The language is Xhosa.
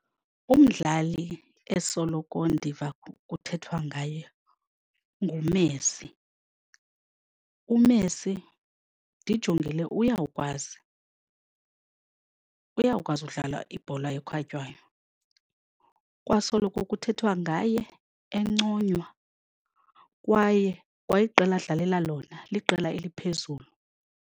Umdlali esoloko ndiva kuthethwa ngaye nguMessi. UMessi ndijongile uyakwazi, uyakwazi udlala ibhola ekhatywayo. Kwasoloko kuthethwa ngaye enconywa kwaye kwa iqela adlalela lona liqela eliphezulu.